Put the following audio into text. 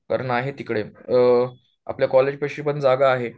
कारण आहे तिकडे आपल्या कॉलेज पाशी पण जागा आहे